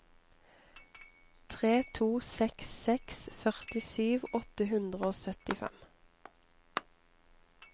tre to seks seks førtisju åtte hundre og syttifem